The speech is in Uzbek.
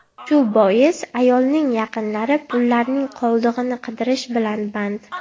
Shu bois ayolning yaqinlari pullarning qoldig‘ini qidirish bilan band.